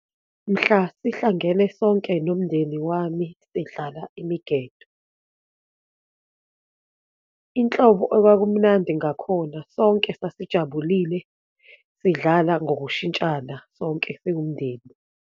Mhla sihlangene sonke nomndeni wami sidlala imigedo. Inhlobo okwakumnandi ngakhona, sonke sasijabulile, sidlala ngokushintshana, sonke siwumndeni.